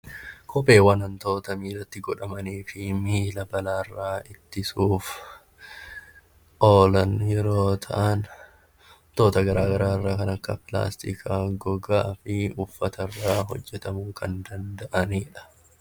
Kopheewwan wantoota miilatti godhatanii fi miila balaarraa ittisuudhaaf oola yeroo ta'an, wantoota garaagaraa irraa kan akka pilaastikaa , gogaa fi uffata irraa hojjatamuu kan danda'anidha